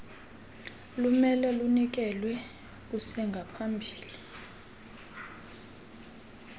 lumele lunikelwe kusengaphambili